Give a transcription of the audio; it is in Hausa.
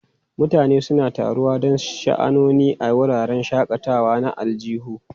Mutane suna taruwa don sha'anoni a wuraren shakatawa na aljihu.